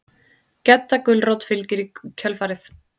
Gedda gulrót fylgir í kjölfarið.